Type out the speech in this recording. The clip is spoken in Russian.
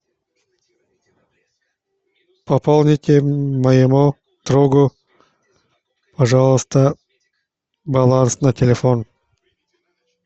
пополните моему другу пожалуйста баланс на телефон